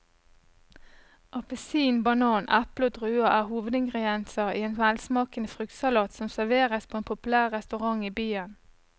Appelsin, banan, eple og druer er hovedingredienser i en velsmakende fruktsalat som serveres på en populær restaurant i byen.